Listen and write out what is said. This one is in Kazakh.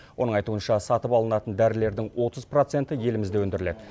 оның айтуынша сатып алынатын дәрілердің отыз проценті елімізде өндіріледі